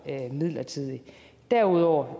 midlertidigt derudover